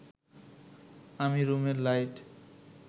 আমি রুমের লাইট